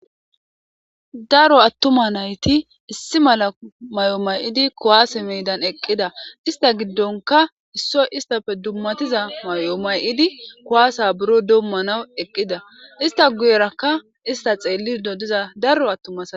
Daro atuma nati issi maala mayo mayidi kuwasse meedan eqida ista gidonkka issoy istappe dumatiza mayo mayidi kuwasa buro domanaw eqida ista guyerakka ista xelido diza daro atuma asati